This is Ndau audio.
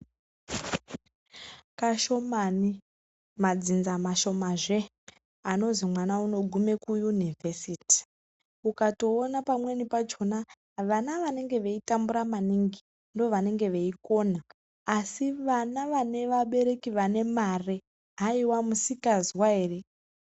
Kashomani madzinza mashomazve anozwi mwana unogume kuyunevhesiti ukatoone pamwenipachona vana vanenge veitambura maningi ndovanenge veikona asi vana vane vabereki vane mare haiwa misikazwa ere!